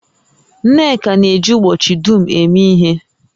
Nneka na-eji ubochi dum eme ihe